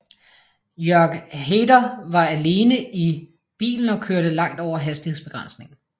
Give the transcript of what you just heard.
Jörg Haider var alene i bilen og kørte langt over hastighedsbegrænsningen